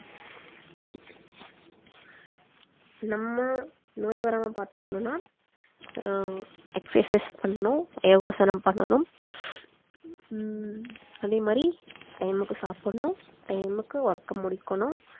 நம்ம நோய் வராம பார்த்துக்கணும்னா அஹ் exercise பண்ணனும் யோகாசனம் பண்ணனும் ஹம் அதே மாரி time க்கு சாப்பிடணும் time க்கு work அ முடிக்கணும்